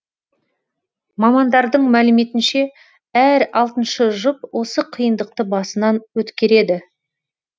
мамандардың мәліметінше әр алтыншы жұп осы қиындықты басынан өткереді